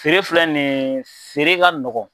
Feere filɛ nin ye feere ka nɔgɔn